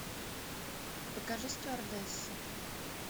покажи стюардесса